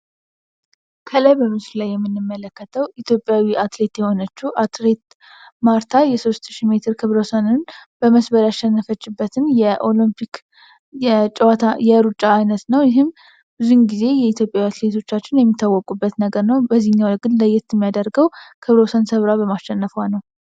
ከላይ በምስሉ ላይ የምንመለከተዉ ኢትዩጵያዊ አትሌት የሆነችው አትሌት ማርታ የሦስትሺ ሜትር በመስበር ያሸነፈችበትም የኦሎምፒክ የጨዋታ የሩጫ ዓይነት ነው ይህም ጊዜ የኢትዮጵያ ሴቶቻችን የሚታወቁበት ነገር ነው ያደርገው በማሸነፏ ነው።